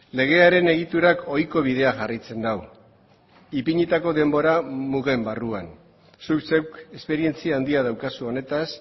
legearen egiturak ohiko bidea jarraitzen du ipinitako denbora mugen barruan zuk zeuk esperientzia handia daukazu honetaz